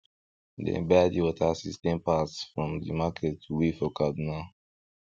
dem buy the water system parts from de market wey for kaduna